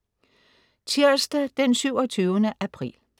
Tirsdag den 27. april